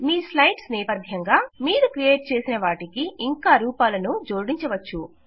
మీ slides నేపథ్యంగా మీరు create చేసిన వాటికి ఇంకా రూపాలను మీరు జోడించవచ్చు